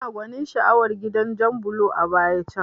Ina gwanin sha'awar gidan jan bulo a baya can